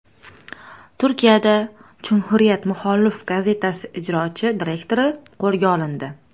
Turkiyada Cumhuriyet muxolif gazetasi ijrochi direktori qo‘lga olindi.